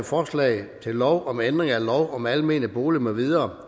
forslag til lov om ændring af lov om almene boliger